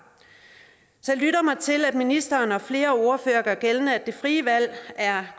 så jeg lytter mig til at ministeren og flere ordførere gør gældende at det frie valg er